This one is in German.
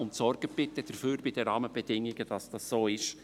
Und sorgen Sie bitte bei den Rahmenbedingungen dafür, dass es so ist.